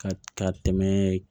Ka ka tɛmɛ